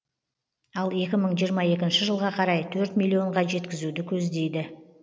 ал екі мың жиырма екінші жылға қарай төрт миллионға жеткізуді көздейді